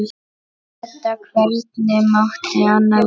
Enda hvernig mátti annað vera?